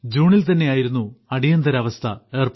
ജൂണിൽ തന്നെയായിരുന്നു അടിയന്തരാവസ്ഥ ഏർപ്പെടുത്തിയത്